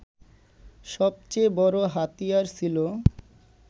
সবচেয়ে বড় হাতিয়ার ছিল